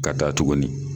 Ka taa tuguni